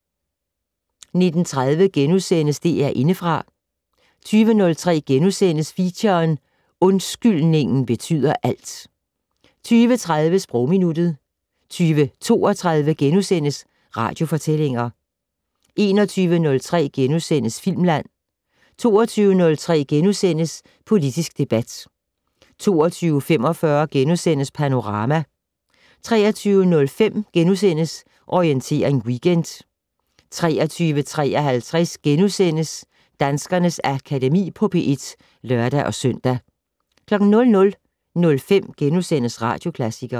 19:30: DR Indefra * 20:03: Feature: Undskyldningen betyder alt * 20:30: Sprogminuttet 20:32: Radiofortællinger * 21:03: Filmland * 22:03: Politisk debat * 22:45: Panorama * 23:05: Orientering Weekend * 23:53: Danskernes Akademi på P1 *(lør-søn) 00:05: Radioklassikeren *